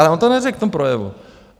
Ale on to neřekl v tom projevu.